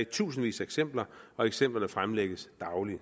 i tusindvis af eksempler og eksemplerne fremlægges daglig